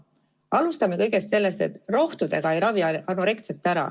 Alustame kõigepealt sellest, et rohtudega ei ravi anoreksiat.